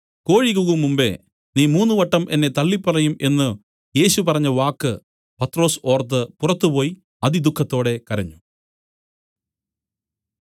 കോഴി കൂകും മുമ്പേ നീ മൂന്നുവട്ടം എന്നെ തള്ളിപ്പറയും എന്നു യേശു പറഞ്ഞവാക്ക് പത്രൊസ് ഓർത്ത് പുറത്തുപോയി അതിദുഃഖത്തോടെ കരഞ്ഞു